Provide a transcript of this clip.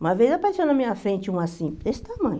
Uma vez apareceu na minha frente um assim, desse tamanho.